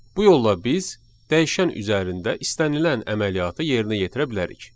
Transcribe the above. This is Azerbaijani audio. Bu yolla biz dəyişən üzərində istənilən əməliyyatı yerinə yetirə bilərik.